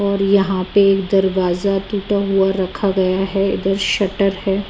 और यहाँ पे एक दरवाजा टूटा हुआ रखा गया है इधर शटर है।